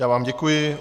Já vám děkuji.